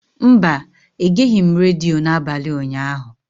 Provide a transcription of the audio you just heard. Mba, egeghị m redio n'abalị ụnyaahụ.